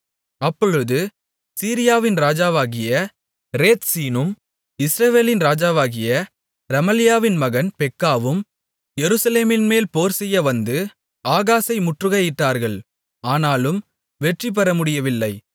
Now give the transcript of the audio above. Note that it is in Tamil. அப்பொழுது சீரியாவின் ராஜாவாகிய ரேத்சீனும் இஸ்ரவேலின் ராஜாவாகிய ரெமலியாவின் மகன் பெக்காவும் எருசலேமின்மேல் போர்செய்யவந்து ஆகாசை முற்றுகையிட்டார்கள் ஆனாலும் வெற்றிபெற முடியவில்லை